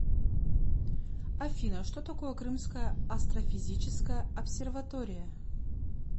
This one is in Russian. афина что такое крымская астрофизическая обсерватория